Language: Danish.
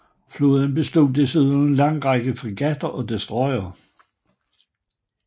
Flåden bestod desuden af en lang række fregatter og destroyere